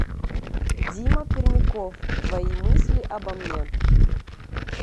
дима пермяков твои мысли обо мне